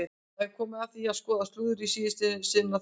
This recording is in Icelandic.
Það er komið að því að skoða slúðrið í síðasta sinn á þessu ári!